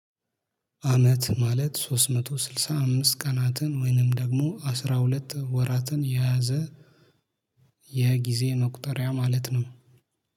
አመት ማለት ሶስት መቶ ስልሳ አምስት ቀናትን ወይንም ደግሞ አስራ ሁለት ወራትን የያዘ የጊዜ መቁጠሪያ ማለት ነው።